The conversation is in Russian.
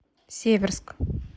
северск